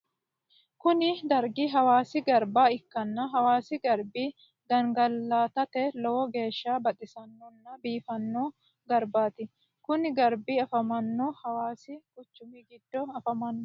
kuni dargi hawasi garba ikkanna hawasi garbi gangalatate lowo geeshsha baxxisannona biifanno garbatti. kuni garbi afamanno hawasi quchumi giddo afamanno.